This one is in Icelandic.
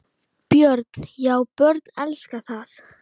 Björn: Já börnin elska það?